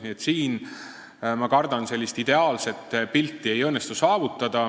Nii et siin, ma kardan, ideaalset pilti saavutada ei õnnestu.